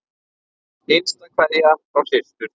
Hinsta kveðja frá systur.